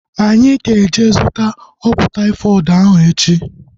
Anyị ga-eje zụta ọgwụ taifọdụ ahu echi